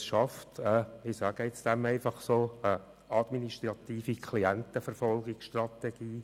Das schafft eine – ich sage dem jetzt einfach so – administrative Klientenverfolgungsstrategie: